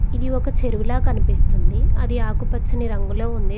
ఇది ఒక చెరువుల కనిపిస్తుంది అది ఆకుపచ్చని రంగులో ఉంది.